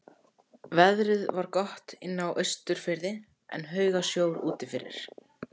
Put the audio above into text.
Veðrið var gott inni á Austurfirði en haugasjór úti fyrir.